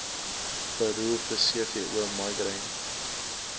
beroerte cvo migraine